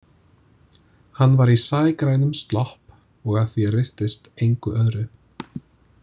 Hann var í sægrænum slopp og að því er virtist engu öðru.